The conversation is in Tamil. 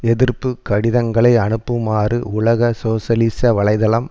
எதிர்ப்பு கடிதங்களை அனுப்புமாறு உலக சோசியலிச வலை தளம்